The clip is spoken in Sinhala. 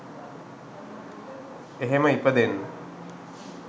එහෙම ඉපදෙන්න